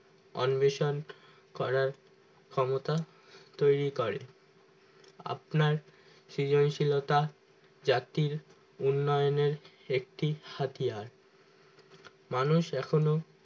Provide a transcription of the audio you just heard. অন্বেষণ করার ক্ষমতা তৈরি করে আপনার সৃজনশীলতা জাতির উন্নয়নের একটি হাতিয়ার মানুষ এখনো